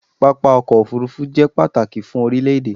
Pápá ọkọ̀ òfurufú jẹ pàtàkì fún orílẹ̀ èdè